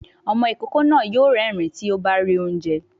Ọmọ ìkókó náà yóò rérìn-ín tí ó bá rí oúnjẹ